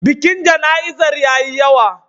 Bikin jana'izar ya yi yawa.